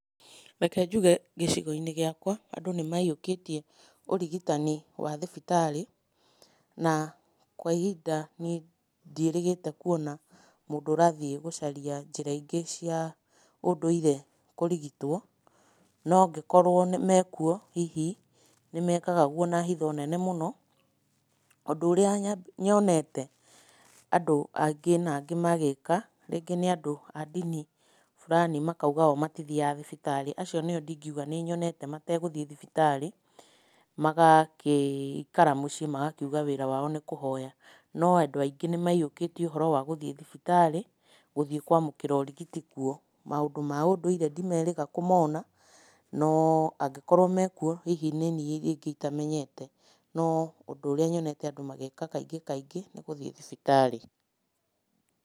Reke njuge gĩcigoiinĩ gĩakwa andũ ,nĩmaiyũkĩtie ũrigitani wa thibitarĩ, na kwa ihinda niĩ, ndiĩrĩgĩte kuona mũndũ ũrathiĩ gũcaria njĩra ĩngĩ cia, ũndũire kũrigitwo.No angĩkorwo me kuo hihi, nĩ mekaga ũguo na hitho nene mũno, ũndũ ũrĩa nyonete, andũ angĩ na angĩ magĩĩka, rĩngĩ nĩ andũ a dini burani makauga oo matithiaga thibitarĩ. Acio nĩo ndingiuga nĩnyonete, matagũthiĩ thibitarĩ, magakĩikara muciĩ magakiuga wĩra wao nĩ kũhoya. No andũ aingĩ nĩmaiyũkĩtĩe ũhoro wa thibitarĩ, gũthiĩ kwamũkĩra ũrigiti kuo. Maũndũ ma ndũire ndimerĩga kũmona, no, angĩkorwo me kuo hihi niniĩ rĩngĩ itamenyete, no ũndũ ũrĩa nyonete andũ Magĩka kaingĩ kaingĩ, nĩgũthiĩ thibitarĩ.